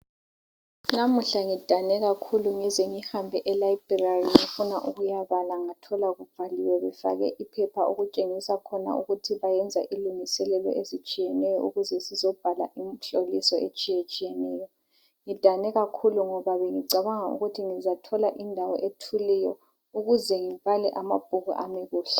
namuhla ngidane kakhulu ngize ngihambe e library ngifuna ukuyabala ngathola kuvaliwe kufakwe iphepha okutshenigisa khona ukuthi bayenza ilungiselelo ezitshiyeneyo ukuze sizobhala imhloliso etshiyeneyo ngidanekakhulu ngoba bengicabanga ukuthi ngizathola indawo ethuliyo ukuze ngibale amabhuku ami kuhle